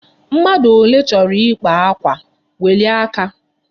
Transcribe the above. Mmadụ ole chọrọ ịkpa akwa, welie aka!